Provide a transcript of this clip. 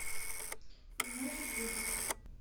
значит любит